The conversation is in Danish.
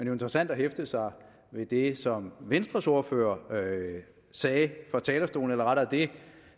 jo interessant at hæfte sig ved det som venstres ordfører sagde fra talerstolen eller rettere